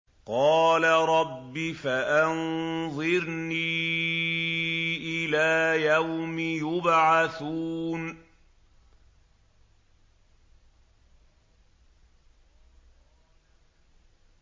قَالَ رَبِّ فَأَنظِرْنِي إِلَىٰ يَوْمِ يُبْعَثُونَ